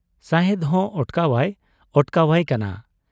ᱥᱟᱦᱮᱸᱫ ᱦᱚᱸ ᱚᱴᱠᱟᱣ ᱟᱭ ᱚᱴᱠᱟᱣᱟᱭ ᱠᱟᱱᱟ ᱾